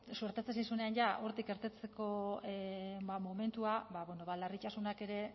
suertatzen zaizuenean ja hortik irtetzeko momentua ba larritasunak ere